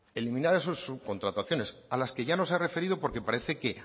eliminar esas subcontrataciones a las que ya nos ha referido porque parece que